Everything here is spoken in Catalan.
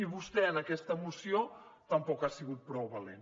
i vostè en aquesta moció tampoc ha sigut prou valent